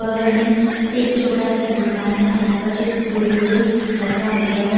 बगल में एक छोटा सा दुकान है जहां पर चिप्स कुरकुरे रखा हुआ है।